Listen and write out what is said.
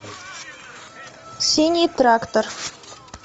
синий трактор